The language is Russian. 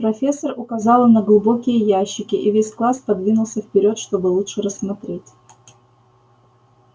профессор указала на глубокие ящики и весь класс подвинулся вперёд чтобы лучше рассмотреть